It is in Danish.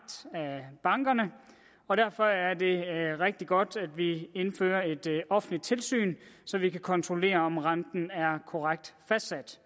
af bankerne og derfor er det rigtig godt at vi indfører et offentligt tilsyn så vi kan kontrollere om renten er korrekt fastsat